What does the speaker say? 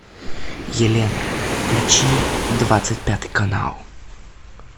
елена включи двадцать пятый канал